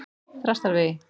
Þrastarvegi